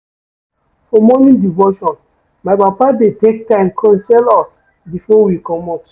For morning devotion, my papa dey take time counsel us before we comot.